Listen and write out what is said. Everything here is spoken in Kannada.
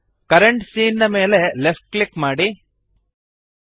ಕರೆಂಟ್ ಸೀನ್ ನ ಮೇಲೆ ಲೆಫ್ಟ್ ಕ್ಲಿಕ್ ಮಾಡಿರಿ